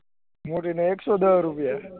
મોટી ને એક સૌ દહ રુપયા